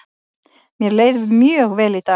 Mér leið mjög vel í dag.